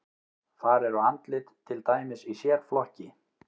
Þar eru andlit til dæmis í sérflokki.